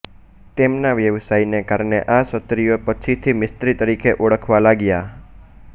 તેમના વ્યવસાયને કારણે આ ક્ષત્રિયો પછીથી મિસ્ત્રી તરીકે ઓળખાવા લાગ્યા